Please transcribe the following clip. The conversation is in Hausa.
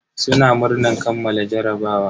Suna murnan kammala jarabawa.